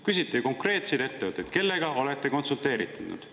Küsiti konkreetseid ettevõtteid: kellega olete konsulteeritud?